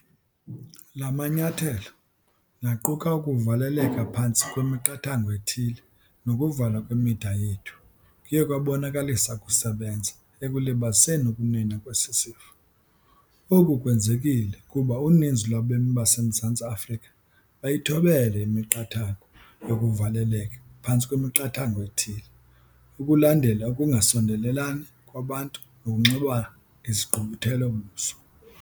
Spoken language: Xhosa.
La manyathelo - naquka ukuvaleleka phantsi kwemiqathango ethile nokuvalwa kwemida yethu - kuye kwabonakalisa ukusebenza ekulibaziseni ukunwenwa kwesi sifo. Oku kwenzekile kuba uninzi lwabemi baseMzantsi Afrika bayithobele imiqathango yokuvaleleka phantsi kwemiqathango ethile, ukulandela ukungasondelelani kwabantu nokunxiba izigqubuthelo-buso.